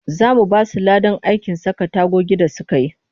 Za mu ba su ladan aikin saka tagogi da suka yi